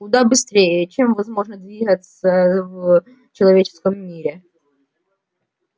куда быстрее чем возможно двигаться в человеческом мире